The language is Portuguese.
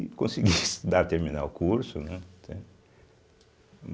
E consegui dar terminar o curso, né, entende.